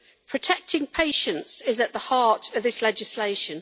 Protecting patients is at the heart of this legislation.